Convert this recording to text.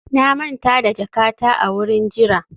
na manta jakata a wurin jira